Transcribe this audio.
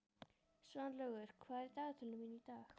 Svanlaugur, hvað er í dagatalinu mínu í dag?